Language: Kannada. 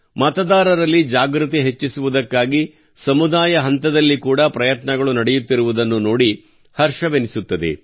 ಮತದಾರರಲ್ಲಿ ಜಾಗೃತಿ ಹೆಚ್ಚಿಸುವುದಕ್ಕಾಗಿ ಸಮುದಾಯ ಹಂತದಲ್ಲಿ ಕೂಡಾ ಪ್ರಯತ್ನಗಳು ನಡೆಯುತ್ತಿರುವುದನ್ನು ನೋಡಿ ಹರ್ಷವೆನಿಸುತ್ತದೆ